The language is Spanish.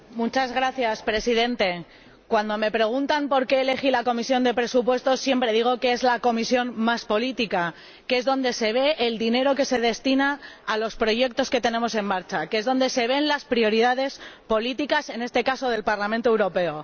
Señor Presidente, cuando me preguntan por qué elegí la Comisión de Presupuestos, siempre digo que es la comisión más política, que es donde se ve el dinero que se destina a los proyectos que tenemos en marcha, donde se ven las prioridades políticas, en este caso, del Parlamento Europeo.